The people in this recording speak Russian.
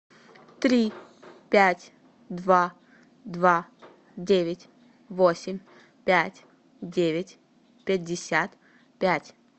три пять два два девять восемь пять девять пятьдесят пять